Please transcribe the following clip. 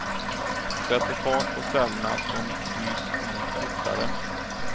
Sätter fart på cellerna, som byts ut fortare.